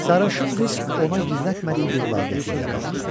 Sarışın qız ona gizlətmədiyi bir laqeydliklə baxdı.